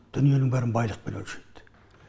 дүниенің бәрін байлықпен өлшейді